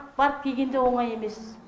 барып келген де оңай емес